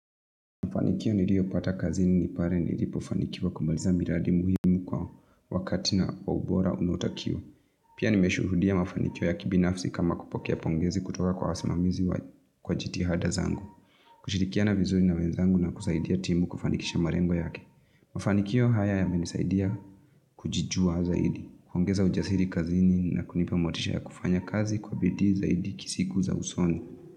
Mafanikio niliopata kazini ni pale nilipofanikiwa kumaliza miradi muhimu kwa wakati na kwa ubora unaotakiwa. Pia nimeshuhudia mafanikio ya kibinafsi kama kupokea pongezi kutoka kwa wasimamizi kwa jitihada zangu. Kushirikiana vizuri na wenzangu na kusaidia timu kufanikisha malengo yake. Mafanikio haya yamenisaidia kujijua zaidi, kuongeza ujasiri kazini na kunipa motisha ya kufanya kazi kwa bidii zaidi siku za usoni.